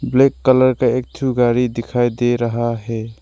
Black colour का एक ठो गाड़ी दिखाई दे रहा है।